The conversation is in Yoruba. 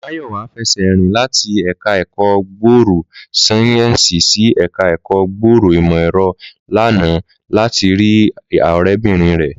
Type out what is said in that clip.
Máyọ̀wá fẹsẹ̀ rìn láti ẹ̀ka ẹ̀kọ́ gbòòrò sáyẹ́ǹsì sí ẹ̀ka ẹ̀kọ́ gbòòrò ìmọ̀ ẹ̀rọ lánàá láti rí ọ̀rẹ́bìnrin rẹ̀